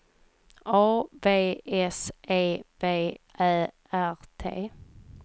A V S E V Ä R T